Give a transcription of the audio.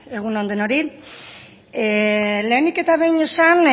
egun on denoi lehenik eta behin esan